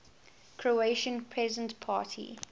croatian peasant party